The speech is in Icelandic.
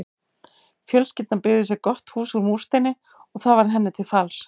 Fjölskyldan byggði sér gott hús úr múrsteini og það varð henni til falls.